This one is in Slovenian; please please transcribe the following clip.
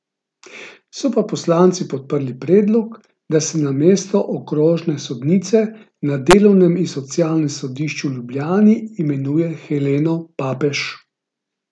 So pa poslanci podprli predlog, da se na mesto okrožne sodnice na Delovnem in socialnem sodišču v Ljubljani imenuje Heleno Papež.